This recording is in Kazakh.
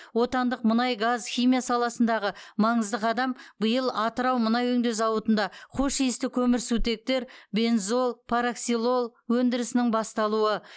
отандық мұнай газ химия саласындағы маңызды қадам биыл атырау мұнай өңдеу зауытында хош иісті көмірсутектер бензол параксилол өндірісінің басталуы